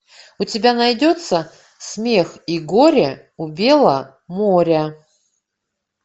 у тебя найдется смех и горе у бела моря